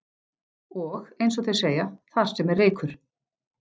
Og, eins og þeir segja: Þar sem er reykur.